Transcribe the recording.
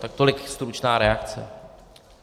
Tak tolik stručná reakce.